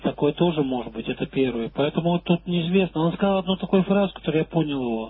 такое тоже может быть это первое поэтому вот тут неизвестно он сказал одну такую фразу которую я понял его